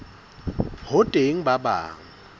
ho teng ba bang ba